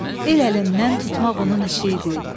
El əlindən tutmaq onun işi idi.